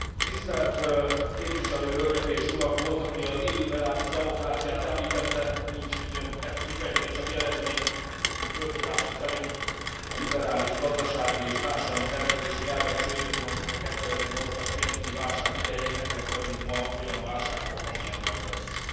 Tisztelt Képviselő Hölgyek és Urak, volt, aki az illiberális demokráciát említette, nincs időnk ezt kifejteni, csak jelezném, hogy fölfogásom szerint a liberális gazdasági és társadalmi szervezési elvek csődöt mondtak a 2008 as pénzügyi válság idején, ezért vagyunk ma olyan válságban, amilyenben vagyunk.